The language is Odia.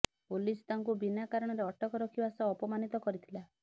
ପୋଲିସ୍ ତାଙ୍କୁ ବିନା କାରଣରେ ଅଟକ ରଖିବା ସହ ଅପମାନିତ କରିଥିଲା